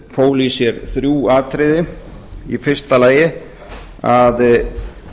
fól í sér þrjú atriði í fyrsta lagi að